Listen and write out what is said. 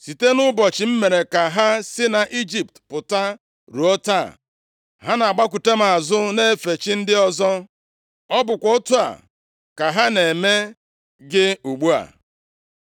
Site nʼụbọchị m mere ka ha si nʼIjipt pụta ruo taa, ha na-agbakụta m azụ, na-efe chi ndị ọzọ. Ọ bụkwa otu a ka ha na-eme gị ugbu a.